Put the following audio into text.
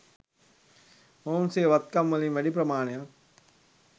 මොවුන් සිය වත්කම්වලින් වැඩි ප්‍රමාණයක්